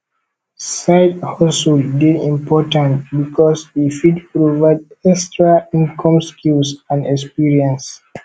sidehustle dey important because e fit provide extra income skills and experience